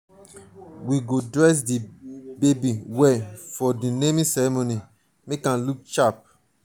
we go dress di baby well for di naming ceremony make am look sharp.